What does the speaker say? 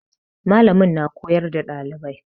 Mallamin na koyar da dalibai.